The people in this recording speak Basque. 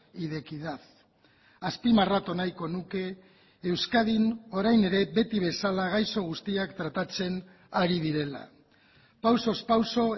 y de equidad azpimarratu nahiko nuke euskadin orain ere beti bezala gaixo guztiak tratatzen ari direla pausoz pauso